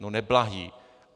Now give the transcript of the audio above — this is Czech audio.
No neblahý.